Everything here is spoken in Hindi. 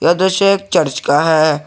यह दृश्य एक चर्च का है।